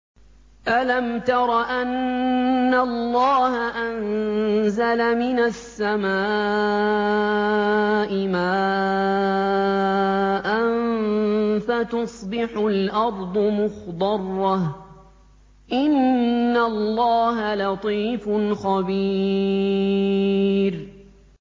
أَلَمْ تَرَ أَنَّ اللَّهَ أَنزَلَ مِنَ السَّمَاءِ مَاءً فَتُصْبِحُ الْأَرْضُ مُخْضَرَّةً ۗ إِنَّ اللَّهَ لَطِيفٌ خَبِيرٌ